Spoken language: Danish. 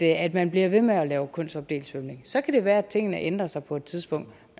at man bliver ved med at lave kønsopdelt svømning så kan det være at tingene ændrer sig på et tidspunkt